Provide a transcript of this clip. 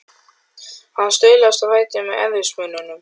Hann staulaðist á fætur með erfiðismunum.